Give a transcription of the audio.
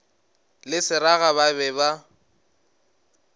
le seraga ba be ba